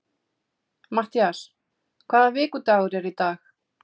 Mattías, hvaða vikudagur er í dag?